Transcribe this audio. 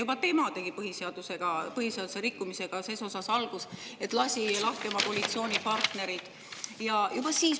Juba tema tegi põhiseaduse rikkumisega ses osas algust, et lasi oma koalitsioonipartnerid lahti.